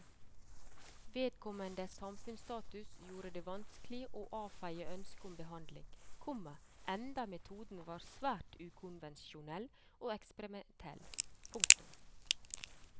Vedkommendes samfunnsstatus gjorde det vanskelig å avfeie ønsket om behandling, komma enda metoden var svært ukonvensjonell og eksperimentell. punktum